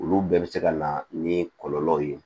Olu bɛɛ bɛ se ka na ni kɔlɔlɔw ye